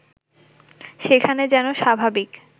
সেখানে যেন স্বাভাবিক